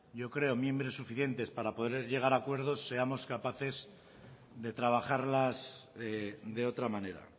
creo miembros suficientes para poder llegar a acuerdos seamos capaces de trabajarlas de otra manera